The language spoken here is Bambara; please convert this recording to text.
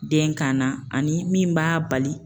Den kan na ani min b'a bali